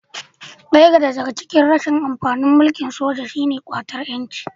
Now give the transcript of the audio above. Daya daga cikin rashin amfanin mulkin soja shi ne ƙwatar 'yanci